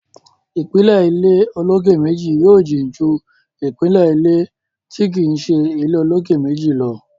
ìpìlẹ̀ ilé olókè méjì yóò jìn ju ìpìlẹ̀ ilé tí kìí ṣe ilé olókè méjì lọ.